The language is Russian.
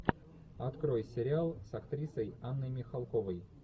открой сериал с актрисой анной михалковой